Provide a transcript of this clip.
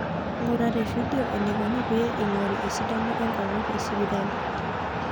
Ngura tefidio enaikoni pee eingori esidano enkonu tesipitali.